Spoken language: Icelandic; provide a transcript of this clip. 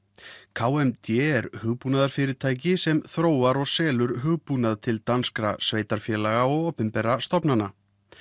k m d er hugbúnaðarfyrirtæki sem þróar og selur hugbúnað til danskra sveitarfélaga og opinberra stofnana